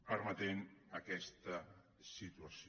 permetent aquesta situació